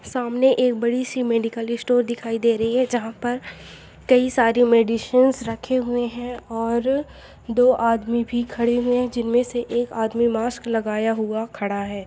सामने एक बड़ी सी मेडिकल स्टोर दिखाई दे रही है जहाँ पर कई सारी मेडिसिंस रखे हुए हैं और दो आदमी भी खड़े हुए हैं जिनमें से एक आदमी मास्क लगाया हुआ खड़ा है।